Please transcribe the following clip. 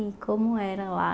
E como era lá?